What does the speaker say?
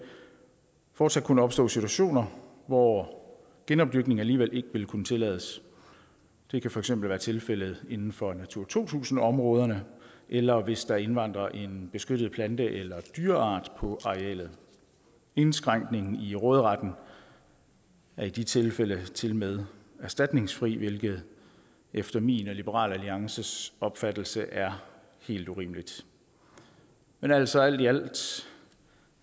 fortsat kunne opstå situationer hvor genopdyrkning alligevel ikke vil kunne tillades det kan for eksempel være tilfældet inden for natura to tusind områderne eller hvis der indvandrer en beskyttet plante eller dyreart på arealet indskrænkningen i råderetten er i de tilfælde tilmed erstatningsfri hvilket efter min og liberal alliances opfattelse er helt urimeligt men altså alt i alt